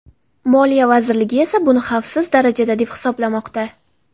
Moliya vazirligi esa buni xavfsiz darajada deb hisoblamoqda.